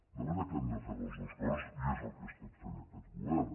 de manera que hem de fer les dues coses i és el que ha estat fent aquest govern